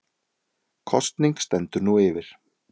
Kosning stendur nú yfir